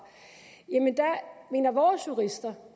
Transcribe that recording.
mener vores jurister